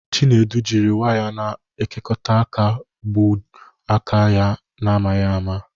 Chinedu jiri waya na-ekekọta aka gbuo aka ya n'amaghị ama